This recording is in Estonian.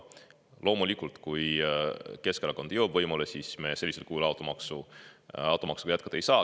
Loomulikult, kui Keskerakond saab võimule, siis me sellisel kujul automaksuga jätkata ei saa.